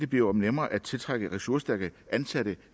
bliver nemmere at tiltrække ressourcestærke ansatte